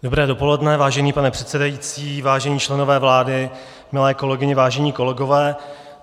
Dobré dopoledne, vážený pane předsedající, vážení členové vlády, milé kolegyně, vážení kolegové.